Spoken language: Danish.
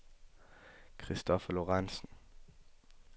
Christopher Lorentzen